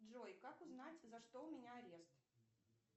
джой как узнать за что у меня арест